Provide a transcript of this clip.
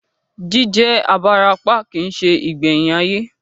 Jí jẹ́ abarapá kìí se ìgbẹ̀yìn ayé